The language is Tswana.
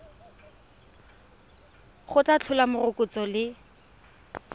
go tla tlhola morokotso le